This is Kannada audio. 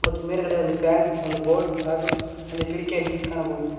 ಮತ್ತೆ ಮೇಲ್ಗಡೆ ಒಂದು ಫ್ಯಾನ್ ಒಂದು ಬೋರ್ಡ್ ಹಾಗು ಒಂದು ಕಿಟಕಿಯನ್ನು ಕಾಣಬಹುದು.